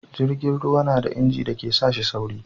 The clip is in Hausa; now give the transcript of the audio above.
jirgin ruwa na da inji da ke sa shi sauri